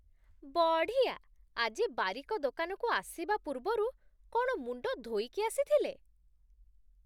ବଢ଼ିଆ! ଆଜି ବାରିକ ଦୋକାନକୁ ଆସିବା ପୂର୍ବରୁ କ'ଣ ମୁଣ୍ଡ ଧୋଇକି ଆସିଥିଲେ?